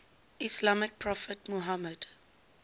islamic prophet muhammad